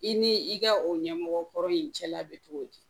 I ni i ka o ɲɛmɔgɔkɔrɔ in cɛla bɛ cogo di